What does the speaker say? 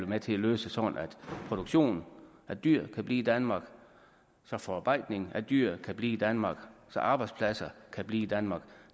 med til at løse så produktionen af dyr kan blive i danmark så forarbejdningen af dyr kan blive i danmark så arbejdspladser kan blive i danmark